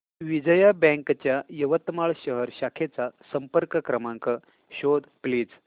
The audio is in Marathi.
विजया बँक च्या यवतमाळ शहर शाखेचा संपर्क क्रमांक शोध प्लीज